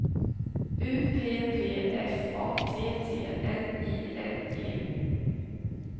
U P P F A T T N I N G